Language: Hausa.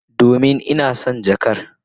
Domin ina son jakar.